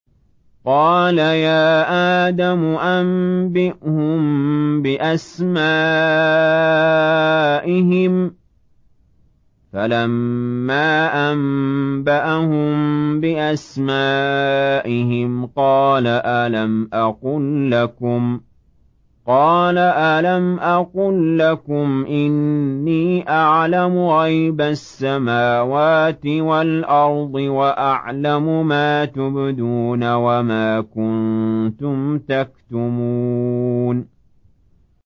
قَالَ يَا آدَمُ أَنبِئْهُم بِأَسْمَائِهِمْ ۖ فَلَمَّا أَنبَأَهُم بِأَسْمَائِهِمْ قَالَ أَلَمْ أَقُل لَّكُمْ إِنِّي أَعْلَمُ غَيْبَ السَّمَاوَاتِ وَالْأَرْضِ وَأَعْلَمُ مَا تُبْدُونَ وَمَا كُنتُمْ تَكْتُمُونَ